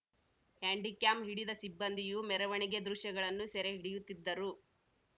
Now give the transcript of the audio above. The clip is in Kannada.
ಹ್ಯಾಂಡಿ ಕ್ಯಾಮ್‌ ಹಿಡಿದ ಸಿಬ್ಬಂದಿಯೂ ಮೆರವಣಿಗೆ ದೃಶ್ಯಗಳನ್ನು ಸೆರೆ ಹಿಡಿಯುತ್ತಿದ್ದರು